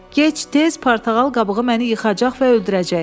Gec-tez portağal qabığı məni yıxacaq və öldürəcək.